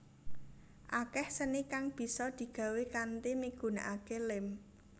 Akeh seni kang bisa digawé kanthi migunakake lem